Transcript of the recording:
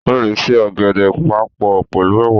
O le se ògèdè papọ̀ pẹ̀lú ẹ̀wà